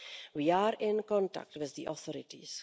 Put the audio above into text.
We are in contact with the authorities.